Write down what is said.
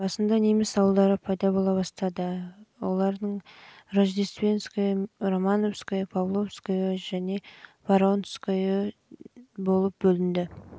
басында неміс ауылдары пайда бола бастады олар жылы рождественское мен романовское жылы павловское жылы баронское жылы